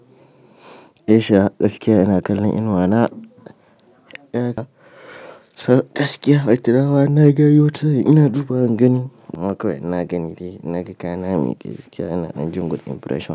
Esha, gaskiya ina kallon inuwa na. Gaskiya, ai tira ma in na gayo ta nan ina dubawa in gani. Maka kawai in na gani dai in naga kaya na a miƙe gaskiya ina ɗan jin good impression.